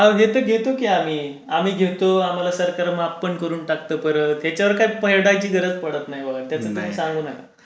घेतो की आम्ही आम्ही घेतो आम्हाला सरकार माफ पण करून टाकतो परत त्याच्यावर काय पडण्याची गरज पडत नाही त्याचा खूप चांगला आहे.